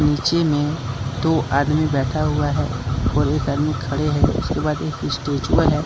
नीचे में दो आदमी बैठा हुआ है और एक आदमी खड़े हैं उसके बाद एक स्टेचू है।